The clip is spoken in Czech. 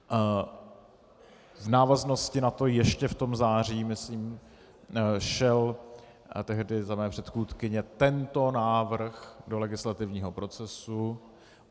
V návaznosti na to ještě v tom září, myslím, šel tehdy za mé předchůdkyně tento návrh do legislativního procesu.